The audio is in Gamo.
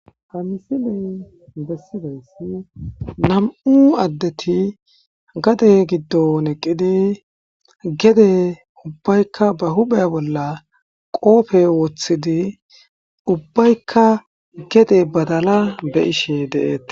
Ha misiley bessizayssi nam'u addeti gadde giddon eqidi gede huphphe bolla qooppe wochidi ubbaykka gede badala be'ishe de'etees.